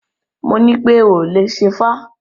Mo nípé o ò lè ṣẹ́fá!